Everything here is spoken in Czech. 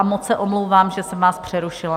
A moc se omlouvám, že jsem vás přerušila.